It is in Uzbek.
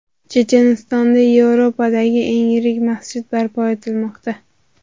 Chechenistonda Yevropadagi eng yirik masjid barpo etilmoqda.